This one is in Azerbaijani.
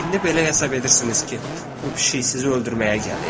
İndi belə hesab edirsiniz ki, bu pişik sizi öldürməyə gəlib?